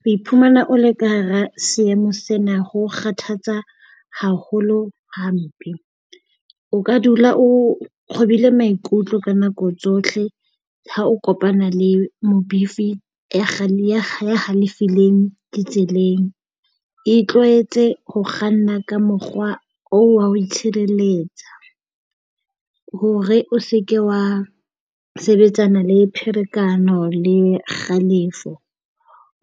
Ho iphumana o le ka hara seemo sena ho kgathatsa haholo hampe. O ka dula o kgobile maikutlo ka nako tsohle ha o kopana le mobifi ya halefileng ditseleng. Itlwaetse ho kganna ka mokgwa oo wa ho itshireletsa hore o se ke wa sebetsana le pherekano le kgalefo,